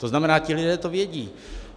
To znamená, ti lidé to vědí.